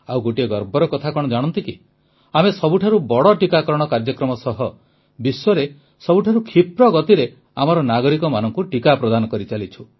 ଆଉ ଗୋଟିଏ ଗର୍ବର କଥା କଣ ଜାଣନ୍ତି କି ଆମେ ସବୁଠାରୁ ବଡ଼ ଟିକାକରଣ କାର୍ଯ୍ୟକ୍ରମ ସହ ବିଶ୍ୱରେ ସବୁଠାରୁ କ୍ଷିପ୍ର ଗତିରେ ଆମର ନାଗରିକମାନଙ୍କୁ ଟିକା ପ୍ରଦାନ କରିଚାଲିଛୁ